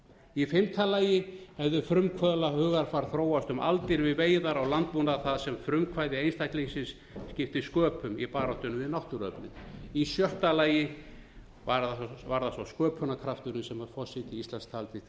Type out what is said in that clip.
í fimmta lagi hefðu frumkvöðlahugarfar þróast um aldir við veiðar á landbúnað þar sem frumkvæði einstaklingsins skipti sköpum í baráttunni við náttúruöflin í sjötta lagi var það svo sköpunarkrafturinn sem forseti íslands taldi til